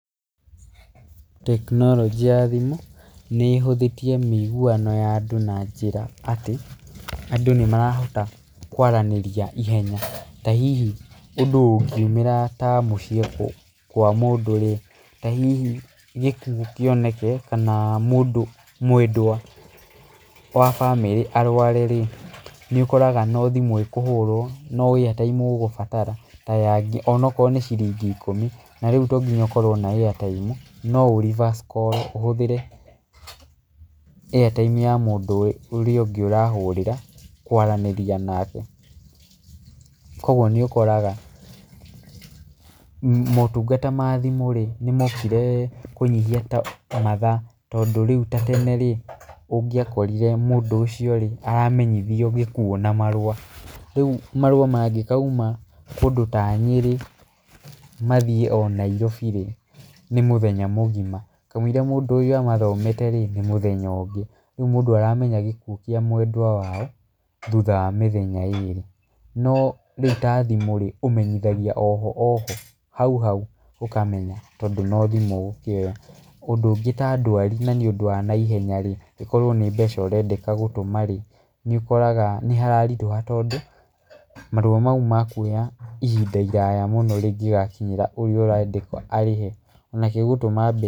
Tekinonjĩ ya thimũ nĩ ĩhũthĩtie miigũano ya andũ na njĩra atĩ andũ nĩ marahota kũaraniĩrĩa ĩhenya ta hihi ũndũ ũngĩũmĩra mũcíĩ kwa mũndũ ta hihi gĩkũo kioneke kana mwendwa wa bamĩrĩ arware nĩ ũkoraga no thimũ ĩkũhũrwo no airtime ũgũbatara onakoro no cĩrĩngi ĩkũmĩ na rĩũ to ngĩnya ũkorwo na airtime no ũ reverse call ũhũthĩre airtime ya mũndũ ũrĩa ũngĩ ũrahũrĩra kwaraniĩria nake kwogũo nĩ ũkoraga motũngata ma thimũ mokĩre kũnyĩhĩa mathaa tondũ rĩu ta tene ũngĩakorĩre mũndũ ũcio aramenyĩthío gĩkũo na marũa rĩu marũa mangĩkaũma kũndũ ta Nyerĩ mathĩe o Nairobi nĩ mũthenya mũgĩma kamwĩrĩa mũndũ ũyũ amathomete nĩ mũthenya ũngĩ rĩu mũndũ aramenya gĩkũo kĩa mwenda wao thũtha mithenya ĩrĩ no rĩu ta thimũ ũmenyĩthagio oho oho haũ haũ ũkamenya tondũ no thimũ ũgũkioya ũndũ ũngĩ ta ndwari na nĩ ũndũ wa naĩhenya ĩkorwo nĩ mbeca ũrendeka gũtũma nĩ ũkoraga nĩhararĩtũha tondũ marũa maũ mekũoya ĩhĩnda rĩraya mũno rĩngĩgakĩnyĩra ũrĩa ũrendeka arĩhe nake gũtũma mbe